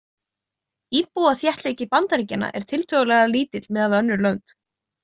Íbúaþéttleiki Bandaríkjanna er tiltölulega lítill miðað við önnur lönd.